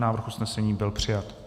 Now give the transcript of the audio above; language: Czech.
Návrh usnesení byl přijat.